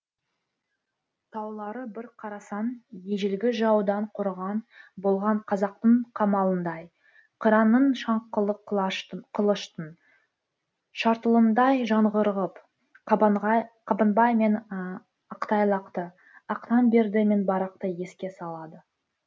таулары бір қарасаң ежелгі жаудан қорған болған қазақтың қамалындай қыранның шаңқылы қылыштың шартылындай жаңғырығып қабанбай мен ақтайлақты ақтанберді мен барақты еске салады